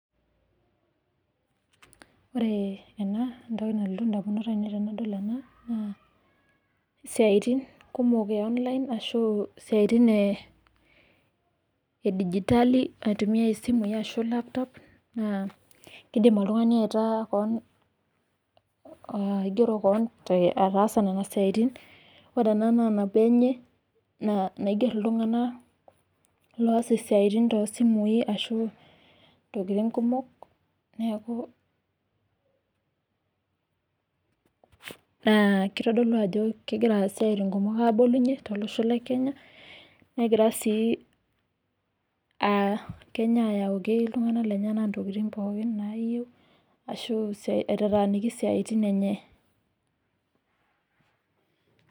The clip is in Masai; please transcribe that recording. Ore ena enalotu indamunot ainei naa isiaitin kumok e online ashu digitali oosimui ashu laptop naa indim oltungani aigero Kaan apali Iigier iltunganak oosa isiaitin oosimui neeku kitodolu ajo egira ngonyek abolunye tolosho le Kenya negirai aayaki iltunganak ntokiting naayieu naasie isiaitin enye